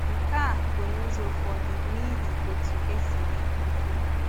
Nke a bụ n’ụzọ ụfọdụ n’ihi otú e si mee ụkwụ ya.